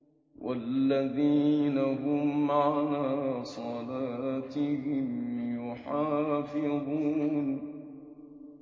وَالَّذِينَ هُمْ عَلَىٰ صَلَاتِهِمْ يُحَافِظُونَ